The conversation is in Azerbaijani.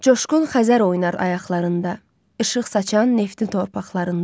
Coşqun Xəzər oynar ayaqlarında, işıq saçan neftli torpaqlarında.